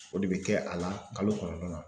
O de be kɛ a la kalo kɔnɔntɔn na.